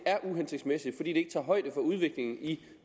er uhensigtsmæssigt ikke tager højde for udviklingen i